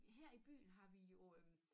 Her i byen har vi jo øh